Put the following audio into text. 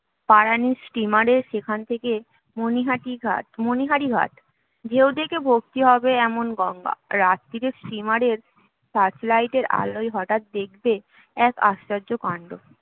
পারানির steamer এ যেখানে থেকে মনীহাটি ঘাট মনীহারি ঘাট ঢেউ দেখে ভক্তি হবে এমন গঙ্গা রাত্তিরে steamer এর searchlight এর আলোয় হঠাৎ দেখবে এক আশ্চর্য কান্ড